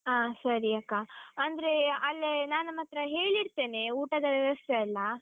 ಹಾ ಸರಿ ಅಕ್ಕ, ಅಂದ್ರೆ ಅಲ್ಲೇ ನಾನು ಮಾತ್ರ ಹೇಳಿಡ್ತೇನೆ, ಊಟದ ವ್ಯವಸ್ಥೆ ಎಲ್ಲಾ.